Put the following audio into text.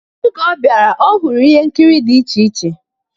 Oge ọ bịara, ọ hụrụ ihe nkiri dịcha iche.